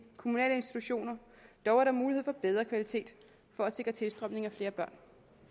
kommunale institutioner dog er der mulighed for bedre kvalitet for at sikre tilstrømning af flere børn